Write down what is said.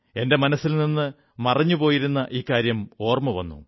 എന്റെ മനസ്സിൽ നിന്ന് മറന്നുപോയിരുന്ന ഇക്കാര്യം ഓർമ്മ വന്നു